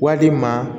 Wali ma